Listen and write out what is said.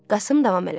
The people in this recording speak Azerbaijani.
Qasım davam elədi.